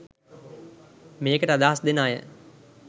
මේකට අදහස් දෙන අය